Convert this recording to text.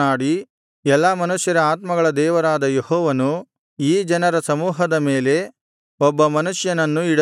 ಎಲ್ಲಾ ಮನುಷ್ಯರ ಆತ್ಮಗಳ ದೇವರಾದ ಯೆಹೋವನು ಈ ಜನ ಸಮೂಹದ ಮೇಲೆ ಒಬ್ಬ ಮನುಷ್ಯನನ್ನು ಇಡಲಿ